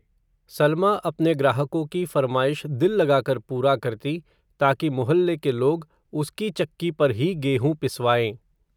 सलमा अपने ग्राहको की फ़रमाईश दिल लगाकर पूरा करती, ताकि मुहल्ले के लोग, उसकी चक्की पर ही गेहूं पिसवाएं